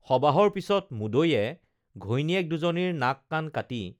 সবাহৰ পিছত মুদৈয়ে ঘৈণীয়েক দুজনীৰ নাক কাণ কাটি